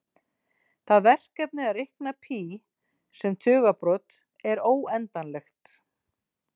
Það verkefni að reikna pí sem tugabrot er óendanlegt.